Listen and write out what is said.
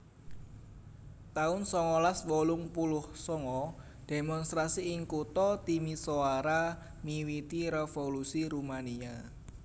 taun songolas wolung puluh sanga Demonstrasi ing kutha Timisoara miwiti Revolusi Rumania